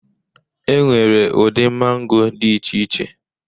Enwere ụdị mango dị iche iche.